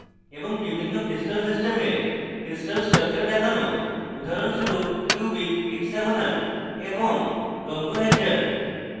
এবং বিভিন্ন crystal systems crystal structure দেখানো উদাহরণস্বরূপ cubic hexagonal এবং rhombohedral